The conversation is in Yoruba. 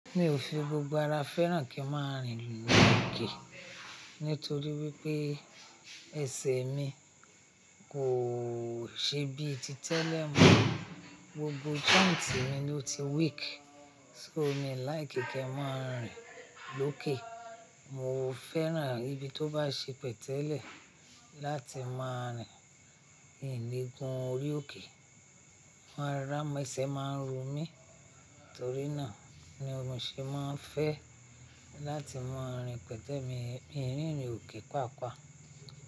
Mi ò fi gbogbo ara fẹ́ràn kí n máa rìn lórí òkè, nítorí wípé ẹsẹ̀ mi kò ṣe bíi ti tẹ́lẹ̀ mọ́, gbogbo joint mi ló ti weak, ṣó mi like kí n máa rìn lókè Mo fẹ́ràn ibi tó bá ṣe pẹ̀tẹ́lẹ̀ láti máa rìn, ìnle gun orí òkè máa ń ràmọ́ ẹsẹ̀ máa ń ro mí, torí náà ni mo ṣe máa ń fẹ́ láti máa rìn pẹ̀tẹ́ mi, mii rínrin òkè pàápàá.